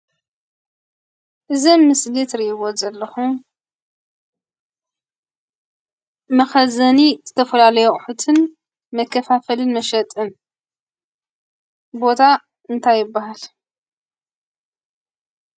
እዚ ኣብ ምስሊ እትርእይዎ ዘለኹም መኸዘኒ ዝተፈላለዩ ኣቑሕትን መከፋፈልን መሸጥን ቦታ እንታይ ይብሃል?